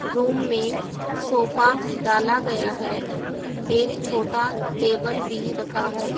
Room में sofa डाला गया है एक छोटा टेबल भी रखा है।